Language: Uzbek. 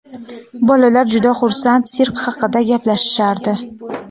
Bolalar juda xursand, sirk haqida gaplashishardi.